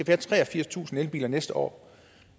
have treogfirstusind elbiler næste år